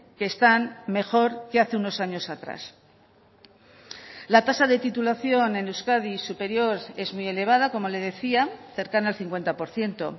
que están mejor que hace unos años atrás la tasa de titulación en euskadi superior es muy elevada como le decía cercana al cincuenta por ciento